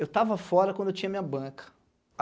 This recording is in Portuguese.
Eu tava fora quando eu tinha minha banca.